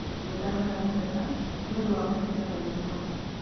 Nĩ ndahoya mũhera nĩ ũndũ wa mahĩtia maitũ hau.